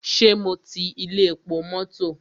Ṣé mo ti ilé epo mọ́tọ̀?